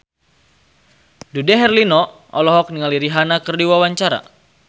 Dude Herlino olohok ningali Rihanna keur diwawancara